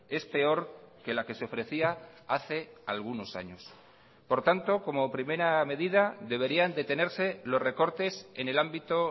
es peor que la que se ofrecía hace algunos años por tanto como primera medida deberían detenerse los recortes en el ámbito